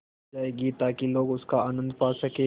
जाएगी ताकि लोग उनका आनन्द पा सकें